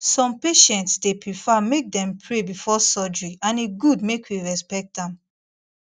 some patients dey prefer make dem pray before surgery and e good make we make we respect am